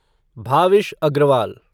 Bhavish Agarwal